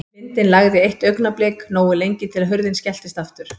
Vindinn lægði eitt augnablik, nógu lengi til að hurðin skelltist aftur.